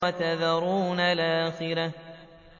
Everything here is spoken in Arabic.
وَتَذَرُونَ الْآخِرَةَ